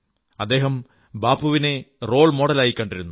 അദ്ദേഹം ബാപ്പുവിനെ റോൾ മോഡലായി കണ്ടിരുന്നു